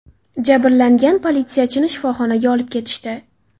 Jabrlangan politsiyachini shifoxonaga olib ketishdi.